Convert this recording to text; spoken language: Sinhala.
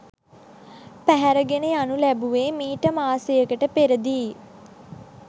පැහැර ගෙන යනු ලැබුවේ මීට මාසයකට පෙරදීයි